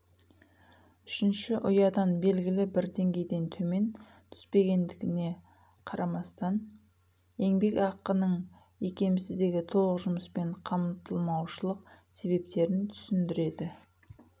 үшінші ұядан белгілі бір деңгейден төмен түспетіндігіне қарамастан еңбек ақының икемсіздігі толық жұмыспен қамтылмаушылық себептерін түсіндіреді